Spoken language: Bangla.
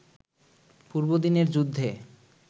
পূর্বদিনের যুদ্ধে